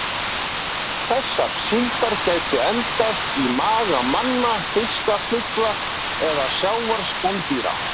Þessar síldar gætu endað í maga manna, fiska, fugla eða sjávarspendýra.